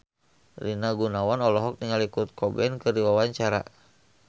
Rina Gunawan olohok ningali Kurt Cobain keur diwawancara